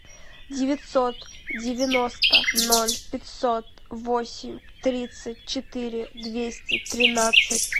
девятьсот девяносто ноль пятьсот восемь тридцать четыре двести тринадцать